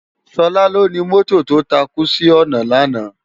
Sola lóni mòtó tó tákú si òná làná